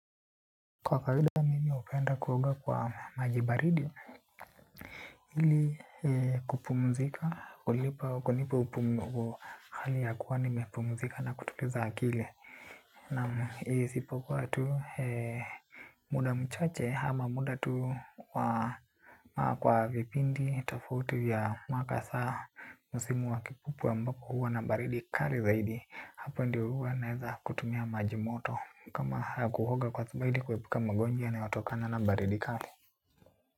Kwa kawaida mimi hupenda kuoga kwa maji baridi ili kupumzika kulipa kunipa hali ya kuwa nimepumzika na kutuliza akili. Naam isipokuwa tu muda mchache ama muda tu wa kwa vipindi tofauti vya mwaka saa msimu wa kipupwe ambako huwa na baridi kali zaidi. Hapo ndio huwa naeza kutumia maji moto kama kuoga kwa saba ili kuepuka magonjwa yanayotokana na baridi kali.